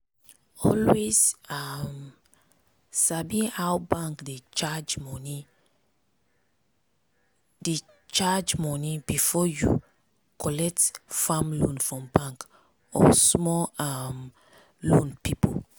always um sabi how bank dey charge money dey charge money before you collect farm loan from bank or small um loan people.